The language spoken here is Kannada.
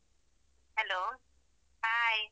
Hello hai .